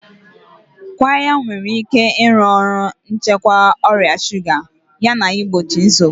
Qirya nwere ike ịrụ ọrụ n'ịchịkwa ọrịa shuga yana igbochi nsogbu.